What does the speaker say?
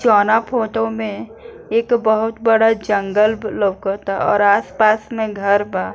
जोना फोटो में एक बहुत बड़ा जंगल लउकाता और आस-पास में घर बा।